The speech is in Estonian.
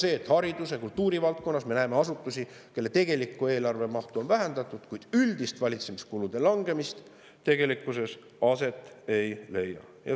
Õige, haridusvaldkonnas ja kultuurivaldkonnas me näeme asutusi, kelle tegelikku eelarve mahtu on vähendatud, kuid üldist valitsemiskulude langemist tegelikkuses aset ei leia.